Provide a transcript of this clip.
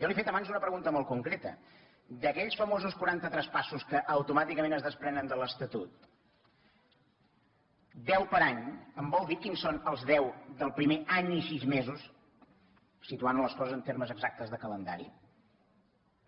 jo li he fet abans una pregunta molt concreta d’aquells famosos quaranta traspassos que automàticament es desprenen de l’estatut deu per any em vol dir quins són els deu del primer any i sis mesos situant les coses en termes exactes de calendari